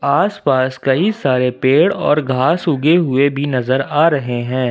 आसपास कई सारे पेड़ और घास उगे हुए भी नजर आ रहे हैं।